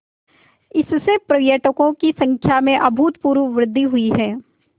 इससे पर्यटकों की संख्या में अभूतपूर्व वृद्धि हुई है